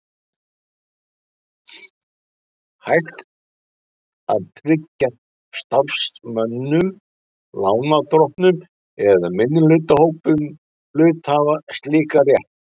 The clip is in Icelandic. hægt að tryggja starfsmönnum, lánardrottnum eða minnihlutahópum hluthafa slíkan rétt.